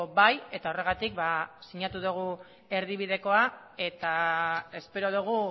bai eta horregatik sinatu dugu erdibidekoa eta espero dugu